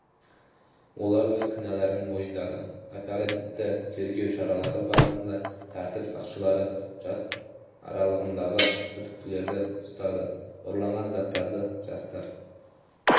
олар өз кінәларын мойындады оперативті-тергеу шаралары барысында тәртіп сақшылары жас аралығындағы күдіктілерді ұстады ұрланған заттарды жастар